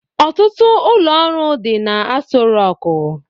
Ọtụtụ ụlọ ọrụ dị n'Asọ Rọkụ.